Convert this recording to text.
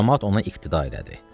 Camaat ona iqtida elədi.